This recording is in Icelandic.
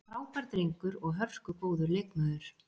Frábær drengur og hörku góður leikmaður.